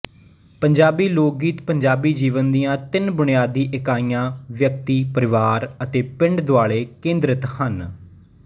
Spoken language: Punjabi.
ਪੰਜਾਬੀ ਲੋਕਗੀਤ ਪੰਜਾਬੀ ਜੀਵਨ ਦੀਆਂ ਤਿੰਨ ਬੁਨਿਆਦੀ ਇਕਾਈਆਂ ਵਿਅਕਤੀ ਪਰਿਵਾਰ ਅਤੇ ਪਿੰਡ ਦੁਆਲੇ ਕੇਂਦਰਤ ਹਨ